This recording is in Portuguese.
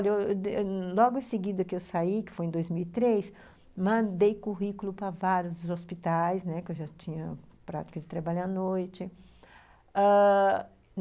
logo em seguida que eu saí, que foi em dois mil e três, mandei currículo para vários hospitais, né, porque eu já tinha prática de trabalho à noite ãh...